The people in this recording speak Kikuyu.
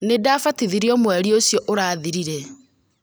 Nĩ ndabatithirio mweri ũcio ũrathirire